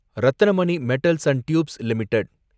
Ratnamani metals and tubes limited